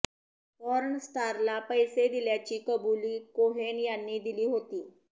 porn स्टारला पैसे दिल्याची कबुली कोहेन यांनी दिली होती